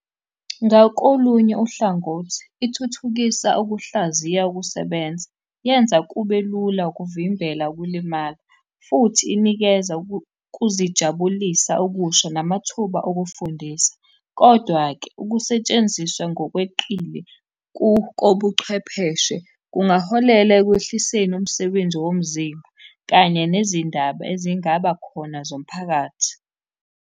Ngakolunye uhlangothi, ithuthukisa ukuhlaziya ukusebenza, yenza kube lula ukuvimbela ukulimala, futhi inikeza ukuzijabulisa okusha namathuba okufundisa, kodwa-ke, ukusetshenziswa ngokweqile kobuchwepheshe kungaholela ekwehliseni umsebenzi womzimba, kanye nezindaba ezingaba khona zomphakathi.